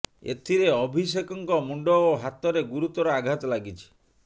ଏଥିରେ ଅଭିଷେକଙ୍କ ମୁଣ୍ଡ ଓ ହାତରେ ଗୁରୁତର ଆଘାତ ଲାଗିଛି